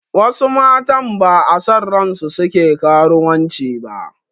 Wasu matan ba'a son ransu suke karuwanci ba